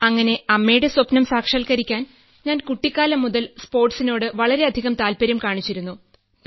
അങ്ങനെ അമ്മയുടെ സ്വപ്നം സാക്ഷാത്കരിക്കാൻ ഞാൻ കുട്ടിക്കാലം മുതൽ സ്പോർട്സിനോട് വളരെയധികം താല്പര്യം കാണിച്ചിരുന്നു